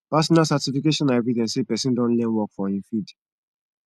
professional certification na evidence sey person don learn work for im field